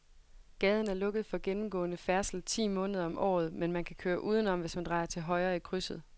Gaden er lukket for gennemgående færdsel ti måneder om året, men man kan køre udenom, hvis man drejer til højre i krydset.